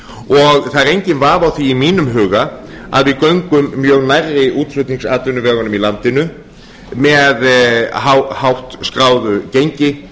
og það er enginn vafi á því í mínum huga að við göngum mjög nærri útflutningsatvinnuvegunum í landinu með hátt skráðu gengi